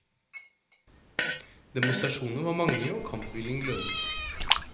Demonstrasjonene var mange og kampviljen glødet.